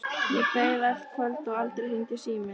Ég beið allt kvöldið og aldrei hringdi síminn.